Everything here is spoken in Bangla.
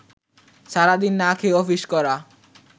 সারাদিন না খেয়ে অফিস করা